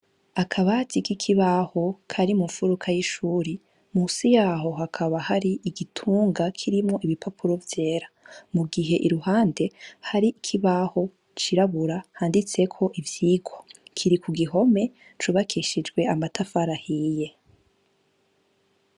Akabati ki kibaho kari mu nfuruka yishuri munsi yaho hakaba hari igitunga kirimwo ibipapuro vyera, mu gihe ku ruhande hari ikibaho cirabura handitseko ivyirwa kiri ku gihome cubakishijwe amatafari ahiye.